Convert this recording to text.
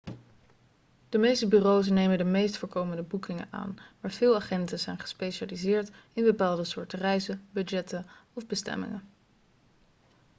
de meeste bureaus nemen de meest voorkomende boekingen aan maar veel agenten zijn gespecialiseerd in bepaalde soorten reizen budgetten of bestemmingen